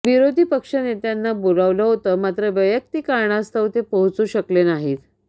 विरोधी पक्षनेत्यांना बोलावलं होतं मात्र वैयक्तिक कारणास्तव ते पोहाचू शकले नाहीत